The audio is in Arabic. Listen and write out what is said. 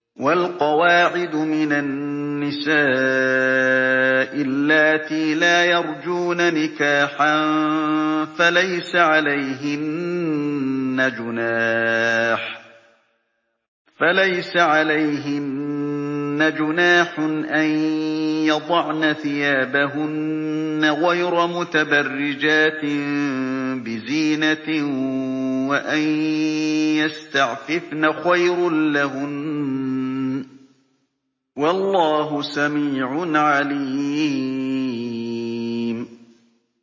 وَالْقَوَاعِدُ مِنَ النِّسَاءِ اللَّاتِي لَا يَرْجُونَ نِكَاحًا فَلَيْسَ عَلَيْهِنَّ جُنَاحٌ أَن يَضَعْنَ ثِيَابَهُنَّ غَيْرَ مُتَبَرِّجَاتٍ بِزِينَةٍ ۖ وَأَن يَسْتَعْفِفْنَ خَيْرٌ لَّهُنَّ ۗ وَاللَّهُ سَمِيعٌ عَلِيمٌ